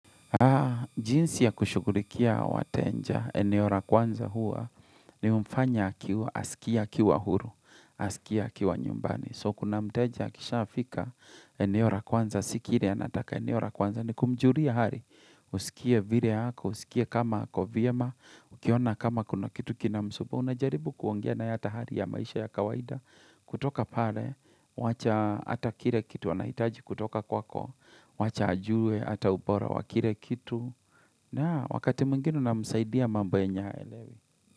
Jinsi ya kushukulikia wateja, eneora kwanza hua, ni umfanya akiwa asikie akiwa huru, asikia aiwa nyumbani. So kuna mteja kisha fika, eneora kwanza, si kile anataka eneora kwanza, ni kumjulia hari, usikie vire hako, usikie kama kovyema, ukiona kama kuna kitu kinamsumbua, unajaribu kuongena yata hari ya maisha ya kawaida, kutoka pale, wacha atakire kitu, wanahitaji kutoka kwako, wacha ajue, hata upora, wakire kitu. Na, wakati mwingine unamsaidia mambo yenye haelewi.